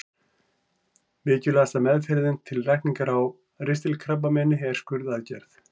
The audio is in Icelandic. Mikilvægasta meðferðin til lækningar á ristilkrabbameini er skurðaðgerð.